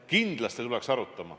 Kindlasti tuleks arutama.